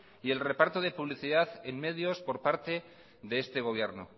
y el reparto de publicidad en medios por parte de este gobierno